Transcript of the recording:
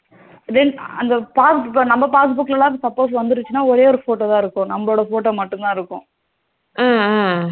Then அந்த passbook ல நம்ம passbook ல suppose வந்துருச்சுனா ஒரே ஒரு photo த இருக்கும். நம்மளோட photo மட்டும்தா இருக்கும்.